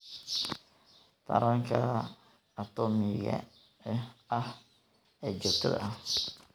Taranka Atoomaatiga ah ee Joogtada ah.